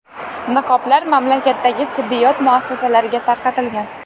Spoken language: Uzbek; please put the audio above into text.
Niqoblar mamlakatdagi tibbiyot muassasalariga tarqatilgan.